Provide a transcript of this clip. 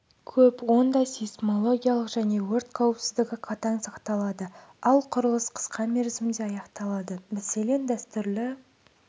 көп онда сейсмологиялық және өрт қауіпсіздігі қатаң сақталады ал құрылыс қысқа мерзімде аяқталады мәселен дәстүрлі